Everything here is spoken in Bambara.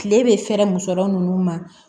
Kile bɛ fɛɛrɛ muso ninnu ma